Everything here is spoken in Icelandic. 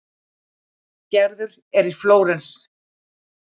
Gerður er í Flórens.